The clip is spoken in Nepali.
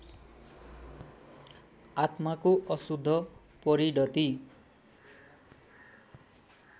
आत्माको अशुद्ध परिणति